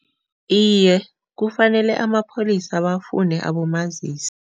Iye, kufanele amapholisa bafune abomazisi.